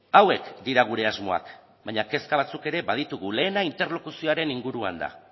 hauek dira gure asmoak baina kezka batzuk ere baditugu lehena interlokuzioaren inguruan da